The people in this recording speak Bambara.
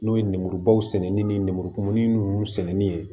N'o ye nemurubaw sɛnɛni ni nɛmurukumuni ninnu sɛnɛnni ye